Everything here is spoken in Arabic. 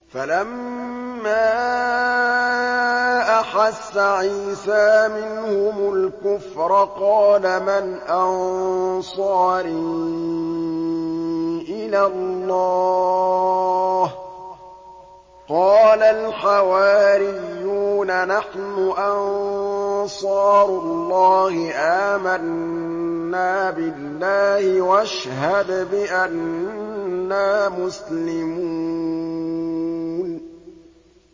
۞ فَلَمَّا أَحَسَّ عِيسَىٰ مِنْهُمُ الْكُفْرَ قَالَ مَنْ أَنصَارِي إِلَى اللَّهِ ۖ قَالَ الْحَوَارِيُّونَ نَحْنُ أَنصَارُ اللَّهِ آمَنَّا بِاللَّهِ وَاشْهَدْ بِأَنَّا مُسْلِمُونَ